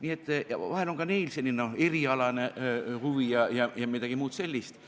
Nii et vahel on ka neil selline erialane huvi ja midagi muud sellist.